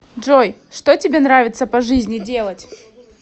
джой что тебе нравится по жизни делать